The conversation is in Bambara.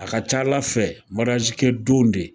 A ka ca Ala fɛ kɛ don de.